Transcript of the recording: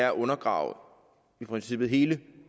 at undergrave i princippet hele